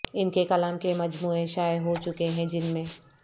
ان کے کلام کے مجموعے شائع ہو چکے ہیں جن میں